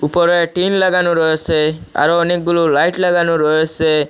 উপরে টিন লাগানো রয়েসে আরও অনেকগুলো লাইট লাগানো রয়েসে।